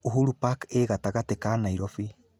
Uhuru Park ĩĩ gatagatĩ ka Nairobi.